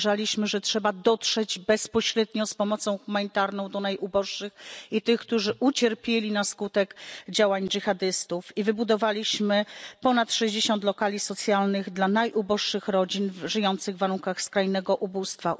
uważaliśmy, że trzeba dotrzeć bezpośrednio z pomocą humanitarną do najuboższych i tych, którzy ucierpieli na skutek działań dżihadystów wybudowaliśmy ponad sześćdziesiąt lokali socjalnych dla najuboższych rodzin żyjących w warunkach skrajnego ubóstwa.